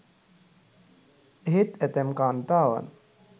එහෙත් ඇතැම් කාන්තාවන්